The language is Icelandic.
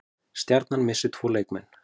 Stjarnan missir tvo leikmenn